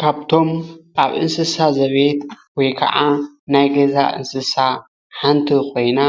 ካብቶም ኣብ እንስሳ ዘቤት ወይ ከዓ ናይ ገዛ እንስሳ ሓንቲ ኮይና